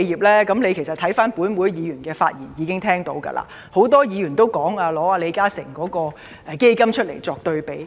其實，司長聽到本會議員的發言應已知道，很多議員都以李嘉誠基金會的"應急錢"計劃作對比。